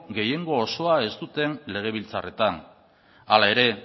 gehiengo osoa ez duten legebiltzarretan hala ere